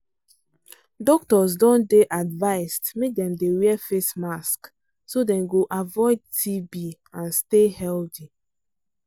doctors don dey advised make dem dey wear face mask so dem go avoid tb and stay healthy